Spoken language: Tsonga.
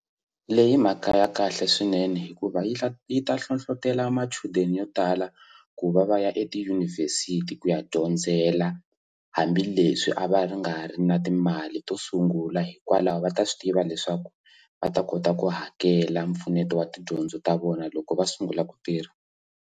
Leyi i mhaka ya kahle swinene hikuva yi kha yi ta hlohlotelo machudeni yo tala ku va va ya etiyunivhesiti ku ya dyondzela hambileswi a va ri nga ri na timali to sungula hikwalaho va ta swi tiva leswaku va ta kota ku hakela mpfuneto wa tidyondzo ta vona loko va sungula ku tirha.